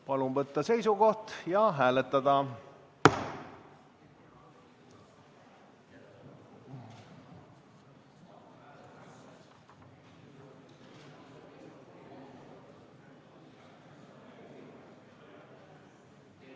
Palun võtta seisukoht ja hääletada!